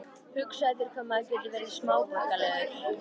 Hugsaðu þér hvað maður getur verið smáborgaralegur.